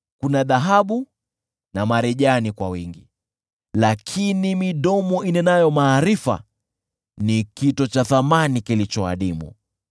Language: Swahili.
Dhahabu kunayo, na marijani kwa wingi, lakini midomo inenayo maarifa ni kito cha thamani kilicho adimu.